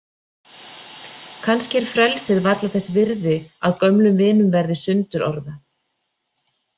Kannski er frelsið varla þess virði að gömlum vinum verði sundurorða.